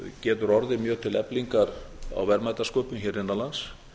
getur orðið mjög til eflingar á verðmætasköpun hér innan lands